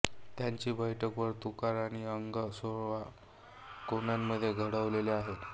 त्याची बैठक वर्तुळाकार आणि अंग सोळा कोनांमध्ये घडवलेले आहे